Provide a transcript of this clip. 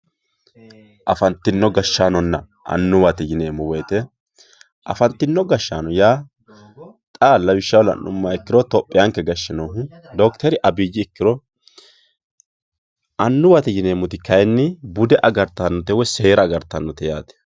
afantinno gashshaanonna annuwate yineemmo woyiite afantino gashshaano yaa xa lawishshaho la'nummoha ikkiro itophiyaanke gashshe noohu dokiteri abiyyi ikkiro annuwate yineemmoti kayiinni bude agartannote woy seera agartannote yaate.